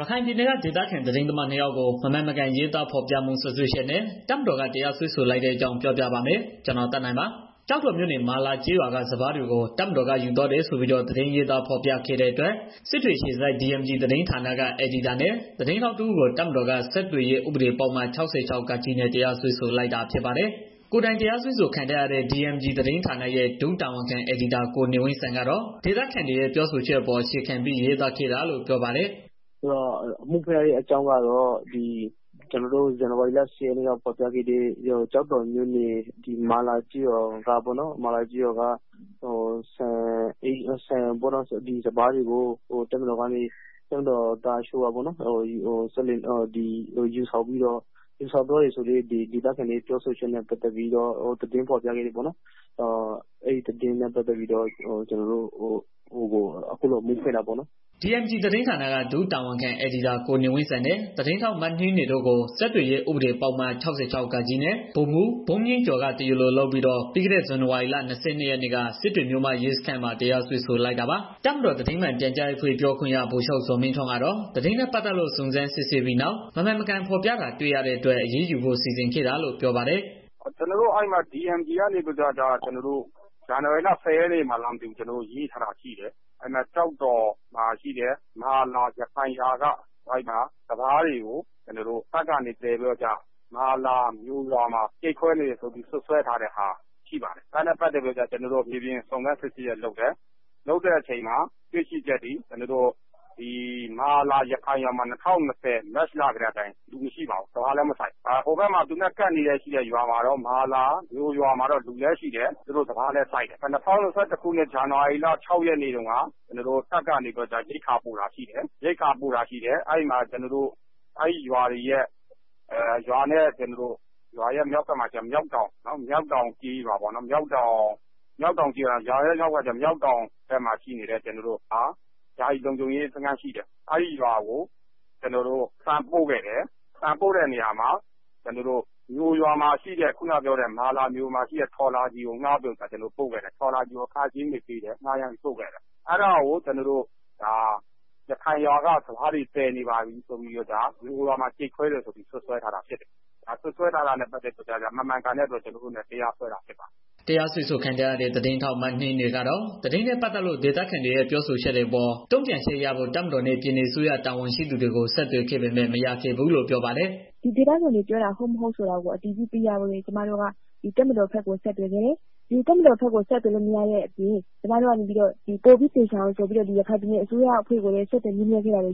ရခိုင်ပြည်နယ်က ဒေသခံသတင်းသမား နှစ် ယောက်ကို မမှန်မကန်ရေးသားဖော်ပြမှု စွပ်စွဲချက်နဲ့ တပ်မတော်က တရားစွဲဆို လိုက်တဲ့အကြောင်းကို ဗွီအိုအေမြန်မာပိုင်း သတင်းထောက် ကိုသက်နိုင်က ပြောပြပါမယ်။ ကျောက်တော်မြို့နယ် မာလာကျေးရွာက စပါးတွေကို တပ်မတော်က ယူသွားတယ်ဆိုပြီး တော့ သတင်းရေးသား ဖော်ပြခဲ့တဲ့အတွက် စစ်တွေအခြေစိုက် DMG သတင်းဌာနက အယ်ဒီတာနဲ့ သတင်းထောက်တစ်ဦးကို တပ်မတော်က ဆက်သွယ်ရေးဥပဒေပုဒ်မ ၆၆(ဃ)နဲ့ တရားစွဲဆိုလိုက်တာ ဖြစ်ပါတယ်။ ကိုယ်တိုင်တရားစွဲဆို ခံထားရတဲ့ DMG (Development Media Group) သတင်းဌာနရဲ့ ဒုတာဝန်ခံ အယ်ဒီတာ ကိုနေဝင်းစံကတော့ ဒေသခံတွေရဲ့ ပြောဆိုချက်အပေါ် အခြေခံပြီး ရေးသားခဲ့တာလို့ ပြောပါတယ်။ “အမှုဖွင့်လိုက်တဲ့ အကြောင်းကတော့ ကျနော်တို့ဒီ ဇန်နဝါရီလ ၁၀ ရက်နေ့က ဖော်ပြခဲ့တဲ့ ကျောက်တော်မြို့နယ် မာလာကျေးရွာက စပါးတွေကို တပ်မတော်သားတချို့က ယူဆောင် သွားတယ်ဆိုပြီးတော့ ဒေသခံတွေရဲ့ ပြောဆိုချက်နဲ့ ပတ်သတ်ပြီး သတင်းဖော်ပြခဲ့တယ်ပေါ့နော်။ အဲဒီသတင်းနဲ့ ပတ်သတ်ပြီးတော့ ကျနော်တို့ကို အမှုဖွင့်တာပေါ့နော်။” DMG သတင်းဌာနက ဒုတာဝန်ခံအယ်ဒီတာ ကိုနေဝင်းစံနဲ့ သတင်းထောက် မနှင်းနွယ်တို့ကို ဆက်သွယ်ရေး ဥပဒေပုဒ်မ ၆၆(ဃ) နဲ့ ဗိုလ်မှူးဘုန်းမြင့်ကျော်က တရားလို လုပ်ပြီးတော့ ပြီးခဲ့တဲ့ ဇန်နဝါရီလ ၂၂ရက်နေ့က စစ်တွေမြို့မ ရဲစခန်းမှာ တရားစွဲဆိုလိုက်တာပါ။ တပ်မတော်သတင်းမှန်ပြန်ကြားရေးအဖွဲ့ ပြောခွင့်ရ ဗိုလ်ချုပ် ဇော်မင်းထွန်းကတော့ သတင်းနဲ့ ပတ်သက်လို့ စုံစမ်းစစ်ဆေးပြီးနောက် မမှန်မကန် ဖော်ပြတာ တွေ့ရှိရတဲ့အတွက် အရေးယူဖို့ စီစဉ်ခဲ့တာလို့ ပြောပါတယ်။ “ကျနော်တို့ အဲဒီမှာ DMG က ဇန်နဝါရီလ ၁၀ ရက်နေ့မှာလား မသိဘူး... ရေးထားတာရှိတယ်။ ကျောက်တော်မှာ ရှိတဲ့ မာလာရခိုင်ရွာက စပါးတွေကို တပ်ကနေ သယ်ပြီးတော့ မာလာမြိုမှာ ပို့နေတယ်ဆိုပြီးတော့ စွပ်စွဲထားတဲ့ဟာ ရှိပါတယ်။ အဲဒါနဲ့ ပတ်သတ်ပြီးတော့ ကျနော်တို့က မြေပြင်စုံစမ်းစစ်ဆေးမှုတွေ လုပ်တယ်။ လုပ်တဲ့အခါ တွေ့ရှိချက်တွေ ကျနော်တို့ မာလာ ရခိုင်ရွာမှာ ၂၀၂၀ မတ်လ ကတည်းက လူမရှိတော့ဘူး။ စပါးလည်း မစိုက်ဘူး။ ဟိုဘက်မှာ သူနဲ့ကပ်နေတဲ့ မာလာမြိုမှာတော့ လူလည်းရှိတယ်။ စပါးလည်းစိုက်တယ်။ ၂၀၂၁ ဇန်နဝါရီလ ၆ ရက်နေ့ကတော့ ကျနော်တို့တပ်က ရိက္ခာသယ်တာရှိတယ်။ မြောက်တောင်ကျေးရွာဘက်မှာ ရှိနေတဲ့ ကျနော်တို့ရဲ့ ယာယီလုံခြုံရေးတပ်ကို ကျနော်တို့ ဆန်ပို့ခဲ့တယ်။ ပို့တဲ့အခါ ကျနော်တို့ မြိုရွာမှာ ရှိတဲ့ ထော်လာဂျီကို ငှားပြီးတော့ ပို့ခဲ့တယ်။ အဲတာကို ရခိုင်ရွာက စပါးတွေကို ယူနေပါပြီဆိုပြီးတော့ မမှန်မကန် စွပ်စွဲထားတာရှိတယ်။ ဒါမမှန်ကန်တဲ့အတွက် ကျနော်တို့က တရားစွဲတာဖြစ်တယ်။” တရားစွဲခံထားရတဲ့ သတင်းထောက်မနှင်းနွယ်ကတော့ သတင်းနဲ့ ပတ်သက်လို့ ဒေသခံတွေရဲ့ ပြောဆိုချက်တွေအပေါ် တုံ့ပြန်ချက်ရဖို့ တပ်မတော်နဲ့ ပြည်နယ်အစိုးရ တာဝန်ရှိသူတွေကို ဆက်သွယ်ခဲ့ပေမဲ့ မရခဲ့ဘူးလို့ ပြောပါတယ်။ “ဒေသခံတွေ ပြောတာ ဟုတ်၊ မဟုတ်ဆိုတာကို အတည်ပြုချက်ရဖို့အတွက်လည်း တပ်မတော်ဘက်ကို ဆက်သွယ်ခဲ့တယ်။ တပ်မတော်ဘက်ကို ဆက်သွယ်လို့မရတော့ ပိုပြီးတော့ သေချာအောင်ဆိုပြီး ရခိုင်ပြည်နယ် အစိုးရအဖွဲ့ဘက်ကို ဆက်သွယ်ခဲ့တယ်။ ဒါပေမဲ့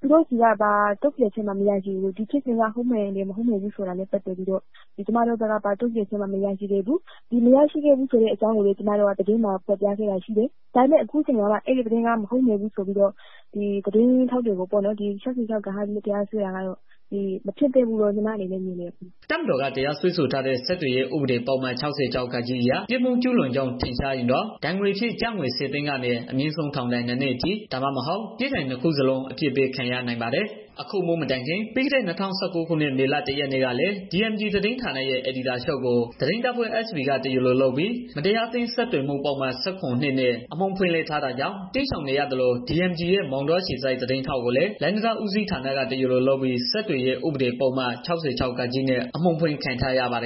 သူတို့ဆီက ဘာတုံ့ပြန်ချက်မှ မရရှိခဲ့ဘူး။ ဒီဖြစ်စဉ်က ဟုတ်တယ်၊ မဟုတ်ဘူးဆိုတာမျိုးပေါ့။ တုန့်ပြန်မှူ မရရှိခဲ့တဲ့အကြောင်းကိုလည်း ကျမတို့က သတင်းမှာ ဖော်ပြခဲ့တယ်။ ဒါပေမဲ့ အခုမှ ဒီသတင်းက မဟုတ်မှန်ဘူးဆိုပြီး ကျမတို့ကို တရားစွဲတာကတော့ မဖြစ်သင့်ဘူးလို့ထင်တယ်။” တပ်မတော်က တရားစွဲဆိုထားတဲ့ ဆက်သွယ်ရေးဥပဒေပုဒ်မ ၆၆(ဃ) အရ ပြစ်မှုကျူးလွန်ကြောင်းထင်ရှားရင်တော့ ဒဏ်ငွေအဖြစ် ကျပ်ငွေ ၁၀ သိန်းကနေ အမြင့်ဆုံး ထောင်ဒဏ် ၂ နှစ်အထိ၊ ဒါမှမဟုတ် ပြစ်ဒဏ် ၂ ခုစလုံး အပြစ်ပေးခံရနိုင်ပါတယ်။ အခု အမှုမတိုင်ခင် ပြီးခဲ့တဲ့ ၂၀၁၉ ခုနှစ် မေလ ၁ ရက်နေ့ကလည်း DMG သတင်းဌာနရဲ့ အယ်ဒီချုပ်ကို သတင်းတပ်ဖွဲ့ SB က တရားလိုလုပ်ပြီး မတရားအသင်းဆက်သွယ်မှု ပုဒ်မ ၁၇/၂ နဲ့ စစ်တွေမြို့မ ရဲစခန်းမှာ အမှုဖွင့်လှစ်ထားတာကြောင့် တိမ်းရှောင်နေရသလို DMG ရဲ့ မောင်တောအခြေစိုက် သတင်းထောက်ကိုလည်း လမ်းတံတားဦးစီးဌာနက တရားလိုလုပ်ပြီး ဆက်သွယ်ရေးဥပဒေပုဒ်မ ၆၆(ဃ)နဲ့ အမှုဖွင့်ခံထားရပါတယ်